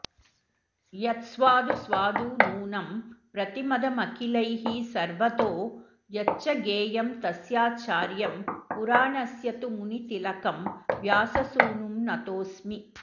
यत्स्वादु स्वादु नूनं प्रतिपदमखिलैः सर्वतो यच्च गेयं तस्याचार्यं पुराणस्य तु मुनितिलकं व्याससूनुं नतोऽस्मि